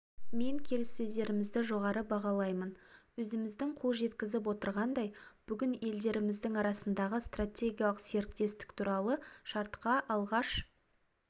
мен келіссөздерімізді жоғары бағалаймын өзіміз қол жеткізіп отырғандай бүгін елдеріміздің арасындағы стратегиялық серіктестік туралы шартқа алғаш